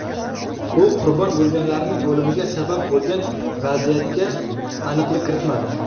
U qurbon bo‘lganlarning o‘limiga sabab bo‘lgan vaziyatga aniqlik kiritmadi.